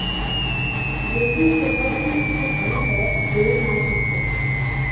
baking soda ਦੀ ਇੱਕ ਹੱਲ ਹੈ ਦੇ ਨਾਲ ਚੁੱਕੋ